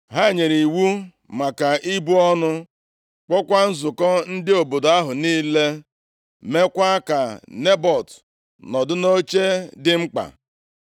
Ha nyere iwu maka ibu ọnụ, kpọọkwa nzukọ ndị obodo ahụ niile, meekwa ka Nebọt nọdụ nʼoche dị mkpa.